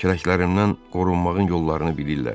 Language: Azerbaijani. Kürəklərimdən qorunmağın yollarını bilirlər.